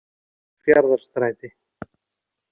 Fjarðarstræti